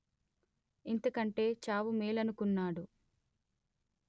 ఇంతకంటె చావు మేలనుకున్నాడు